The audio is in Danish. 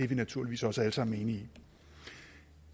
vi naturligvis også alle sammen enige i